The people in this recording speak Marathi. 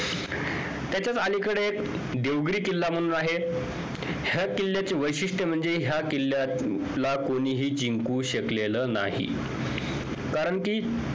त्याच्याच अलीकडे देवगिरी किल्ला म्हणून आहे ह्या किल्ल्याचे वैशिष्ट्य म्हणजे ह्या किल्ल्याला कोणीही जिंकू शकलेलं नाही कारण कि